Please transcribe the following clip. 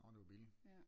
Nå det var billigt